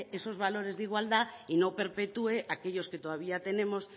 esos valores de igualdad y no perpetúe aquellos que todavía tenemos